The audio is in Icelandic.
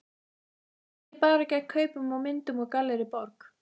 Ekki bara gegn kaupum á myndum úr Gallerí Borg.